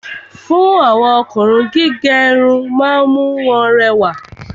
Fún àwọn Ọkùnrin, gígé Irun ma ń mú wọn rẹwà